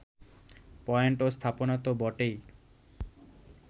point ও স্থাপনা তো বটেই